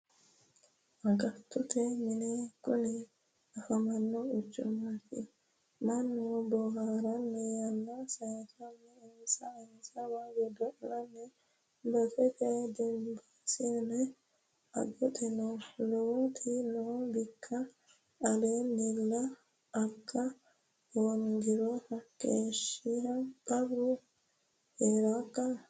Agattote mini kuni afamoho quchumate mannu booharanni yanna sayisanni insa insawa godo'lano baseti dimbisano agatto noo lowoti no bikku aleenilla aga hoongiro hakeeshsha qarru heerakka.